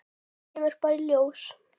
Það kemur bara í ljós.